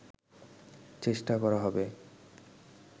চেষ্টা করা হবে